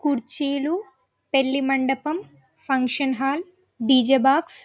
కుర్చీలు పెళ్లి మండపం ఫంక్షన్ హాల్ డీ.జే. బాక్స్ .